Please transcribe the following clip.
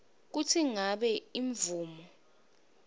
kutsi ngabe imvumo